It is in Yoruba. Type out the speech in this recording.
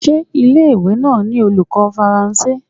Ṣé ilé ìwé náà ni olùkọ́ Faransé?